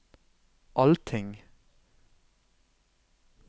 allting